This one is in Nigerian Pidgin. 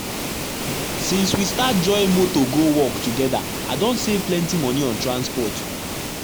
since we start join motor go work together i don save plenty money on transport.